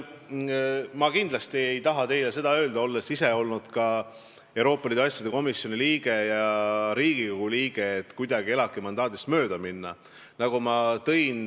Ma olen ise olnud Euroopa Liidu asjade komisjoni liige ja Riigikogu liige ning kindlasti ei taha ma teile öelda, et valitsusel on soov kuidagi ELAK-i mandaadist mööda minna.